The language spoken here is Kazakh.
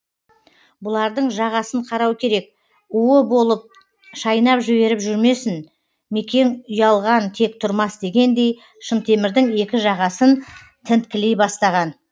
бұлардың жағасын қарау керек уы болып шайнап жіберіп жүрмесін мекең ұялған тек тұрмас дегендей шынтемірдің екі жағасын тінткілей бастаған